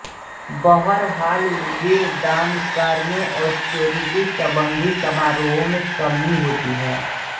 बहरहाल वे दानकार्यों और चैरिटी संबंधित समारोहों में शमी होती है